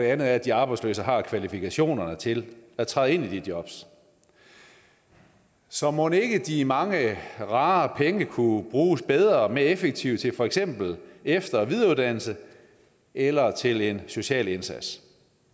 anden er at de arbejdsløse har kvalifikationerne til at træde ind i de jobs så mon ikke de mange rare penge kunne bruges bedre og mere effektivt til for eksempel efter og videreuddannelse eller til en social indsats